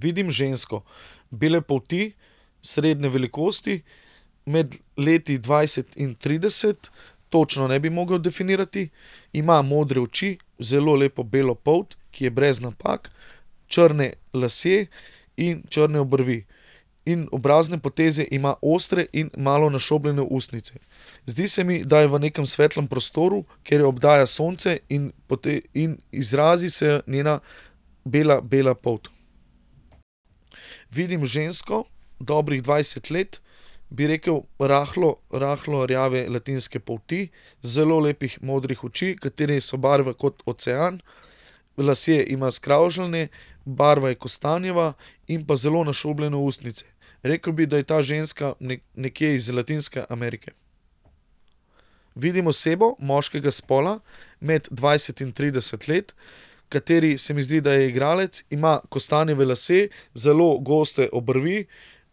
Vidim žensko bele polti, srednje velikosti, med leti dvajset in trideset. točno ne bi mogel definirati. Ima modre oči, zelo lepo belo polt, ki je brez napak. Črne lasje in črne obrvi. In obrazne poteze ima ostre in malo našobljene ustnice. Zdi se mi, da je v nekem svetlem prostoru, ker jo obdaja sonce in in izrazi se njena bela, bela polt. Vidim žensko, dobrih dvajset let. Bi rekel rahlo, rahlo rjave latinske polti. Zelo lepih modrih oči, katere so barve kot ocean. Lasje ima skravžane, barva je kostanjeva in pa zelo našobljene ustnice. Rekel bi, da je ta ženska nekje iz Latinske Amerike. Vidim osebo moškega spola, med dvajset in trideset let, kateri se mi zdi, da je igralec. Ima kostanjeve lase, zelo goste obrvi,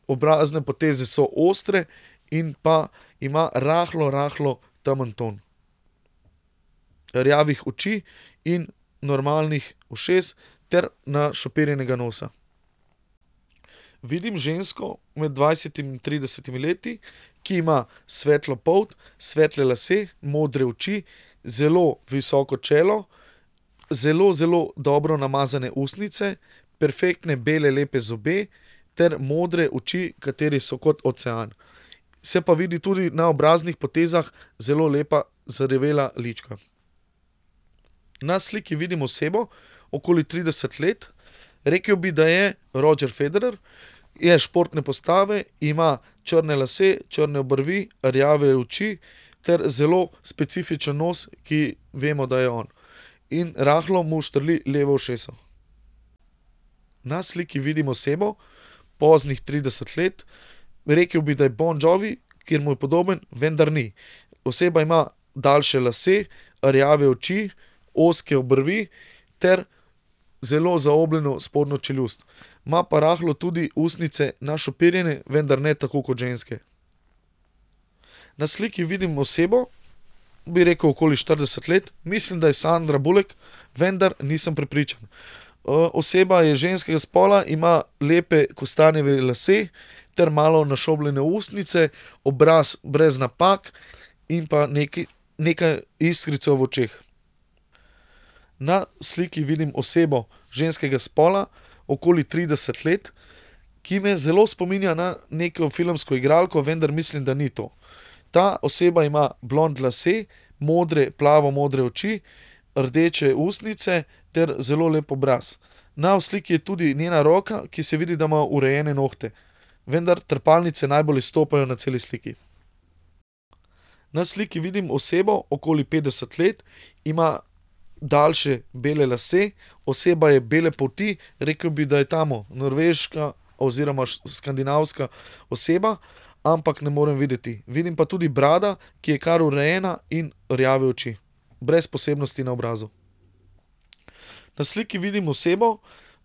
obrazne poteze so ostre in pa ima rahlo, rahlo temen ton. Rjavih oči in normalnih ušes ter našopirjenega nosa. Vidim žensko med dvajsetimi in tridesetimi leti, ki ima svetlo polt, svetle lase, modre oči zelo visoko čelo, zelo, zelo dobro namazane ustnice, perfektne bele lepe zobe ter modre oči, katere so kot ocean. Se pa vidi tudi na obraznih potezah zelo lepa zarjavela lička. Na sliki vidim osebo, okoli trideset let. Rekel bi, da je Roger Federer. Je športne postave, ima črne lase, črne obrvi, rjave oči ter zelo specifičen nos, ki vemo, da je on. In rahlo mu štrli levo uho. Na sliki vidim osebo, poznih trideset let, rekel bi, da je Bon Jovi, ker mu je podoben, vendar ni. Oseba ima daljše lase, rjave oči, ozke obrvi ter zelo zaobljeno spodnjo čeljust. Ima pa rahlo tudi ustnice našopirjene, vendar ne tako kot ženske. Na sliki vidim osebo, bi rekel okoli štirideset let. Mislim, da je Sandra Bullock, vendar nisem prepričan. oseba je ženskega spola, ima lepe kostanjeve lase ter malo našobljene ustnice. Obraz brez napak in pa nekaj, nekaj iskrico v očeh. Na sliki vidim osebo ženskega spola, okoli trideset let, ki me zelo spominja na neko filmsko igralko, vendar mislim, da ni to. Ta oseba ima blond lase, modre, plavo modre oči, rdeče ustnice ter zelo lep obraz. Na sliki je tudi njena roka, ki se vidi, da ima urejene nohte, vendar trepalnice najbolj izstopajo na celi sliki. Na sliki vidim osebo okoli petdeset let, ima daljše bele lase. Oseba je bele polti, rekel bi, da je tam norveška oziroma skandinavska oseba, ampak ne morem videti, vidim pa tudi brado, ki je kar urejena in rjave oči. Brez posebnosti na obrazu. Na sliki vidim osebo,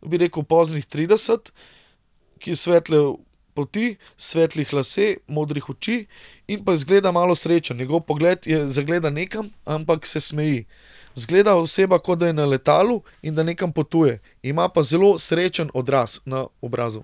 bi rekel poznih trideset, ki je svetle polti, svetlih lase, modrih oči in pa izgleda malo srečen, njegov pogled je zagledan nekam, ampak se smeji. Izgleda oseba, kot da je na letalu in da nekam potuje. Ima pa zelo srečen odraz na obrazu.